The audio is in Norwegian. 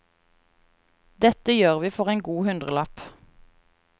Dette gjør vi for en god hundrelapp.